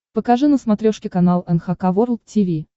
покажи на смотрешке канал эн эйч кей волд ти ви